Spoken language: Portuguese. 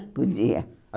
Podia.